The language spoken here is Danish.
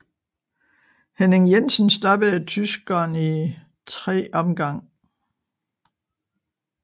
Henning Jensen stoppede tyskeren i 3 omgang